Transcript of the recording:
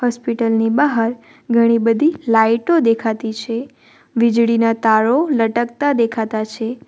Hospital ની બહાર ઘણી બધી લાઈટો દેખાતી છે વીજળીના તારો લટકતા દેખાતા છે.